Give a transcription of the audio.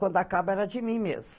Quando acaba era de mim mesmo.